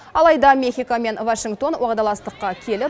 алайда мехико мен вашингтон уағдаластыққа келіп